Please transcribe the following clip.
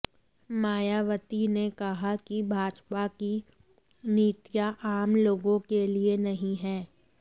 मायावती ने कहा कि भाजपा की नीतियां आम लोगों के लिए नहीं है